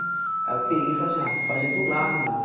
Aí eu peguei e falei assim, fazer do lado, meu.